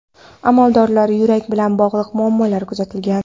Amaldorda yurak bilan bog‘liq muammolar kuzatilgan.